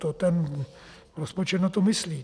To ten rozpočet na to myslí.